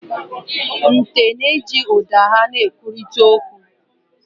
Nte na-eji ụda ha na-ekwurịta okwu.